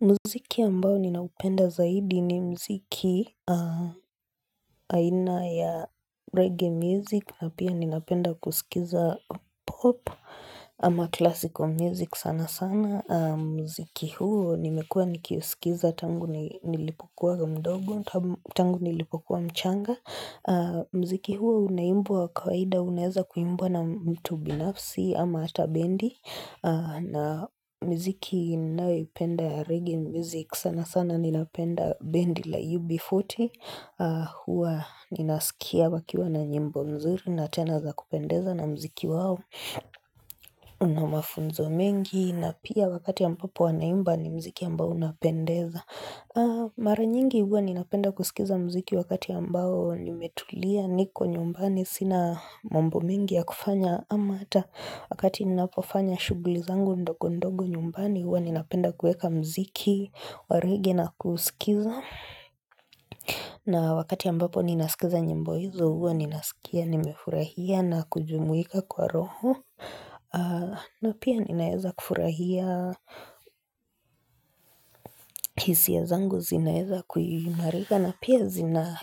Muziki ambao ninaupenda zaidi ni muziki aina ya reggae music na pia ninapenda kusikiza pop ama classical music sana sana. Muziki huo nimekua nikiusikiza tangu nilipokuwa mdogo tangu nilipokuwa mchanga. Muziki huo unaimbwa kawaida unaweza kuimbwa na mtu binafsi ama atabendi. Na miziki ninayoipenda ya Regge music sana sana nina penda bendi la UB40 huwa ninasikia wakiwa na nyimbo mzuri na tenaza kupendeza na mziki wao Una mafunzo mengi na pia wakati ambapo wanaimba ni mziki ambao unapendeza Mara nyingi huwa nina penda kusikiza muziki wakati ambao nimetulia niko nyumbani sina mambo mengi ya kufanya Ama hata wakati ninapofanya shughuli zangu ndogo ndogo nyumbani huwa ninapenda kuweka mziki, waregge na kuusikiza. Na wakati ambapo ninaskiza nyimbo hizo huwa ninaskia, nimefurahia na kujumuika kwa roho. Na pia ninaweza kufurahia hisia zangu zinaweza kuimarika na pia zina